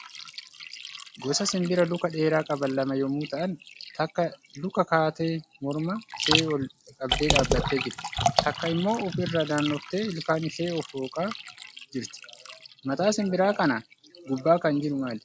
Gosa sinbiraa Luka dheeraa qaban lama yommuu ta'an, takka Luka Kaatee morma ishee ol qabdee dhaabbattee jirti. Takka immoo of irra naannoftee ilkaan isheen of hooqaa jirti. Mataa sinbira kanaa gubbaa kan jiru maali?